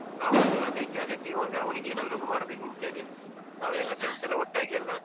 ಹೌದು ಅದಕ್ಕೆ ಅದಕ್ಕೆ ಇವಾಗ ಅವನಿಗೆ ಏನಾದ್ರು ಒಂದು ಮಾಡಬೇಕುಂತ ಹೇಳಿ. friends ಎಲ್ಲಾ ಒಟ್ಟಾಗಿ ಎಲ್ಲಾ.